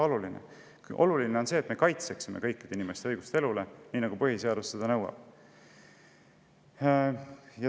Oluline on see, et me kaitseksime kõikide inimeste õigust elule, nii nagu põhiseadus seda nõuab.